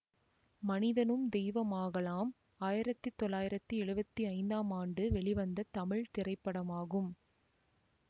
மனிதனும் தெய்வமாகலாம் ஆயிரத்தி தொள்ளாயிரத்தி எழுவத்தி ஐந்தாம் ஆண்டு வெளிவந்த தமிழ் திரைப்படமாகும்